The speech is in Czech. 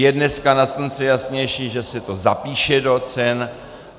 Je dneska nad slunce jasnější, že se to zapíše do cen.